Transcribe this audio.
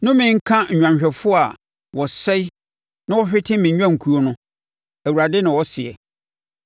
“Nnome nka nnwanhwɛfoɔ a wɔsɛe na wɔhwete me nnwankuo no” Awurade na ɔseɛ.